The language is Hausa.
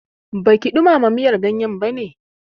Baki ɗumama miyar ganyen bane?